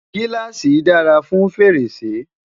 giláasi dára fún fèrèsé